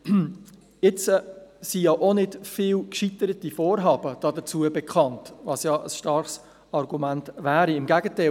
Jetzt sind dazu auch nicht viele gescheiterte Vorhaben bekannt, was ein starkes Argument wäre; im Gegenteil.